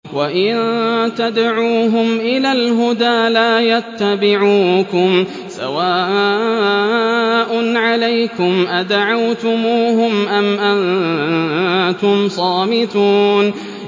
وَإِن تَدْعُوهُمْ إِلَى الْهُدَىٰ لَا يَتَّبِعُوكُمْ ۚ سَوَاءٌ عَلَيْكُمْ أَدَعَوْتُمُوهُمْ أَمْ أَنتُمْ صَامِتُونَ